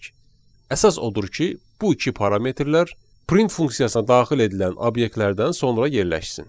Əsas odur ki, bu iki parametrlər print funksiyasına daxil edilən obyektlərdən sonra yerləşsin.